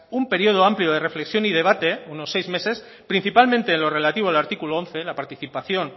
un periodo amplio de reflexión y debate unos seis meses principalmente en lo relativo al artículo once la participación